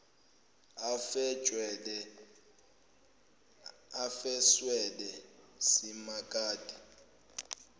afe shwele simakade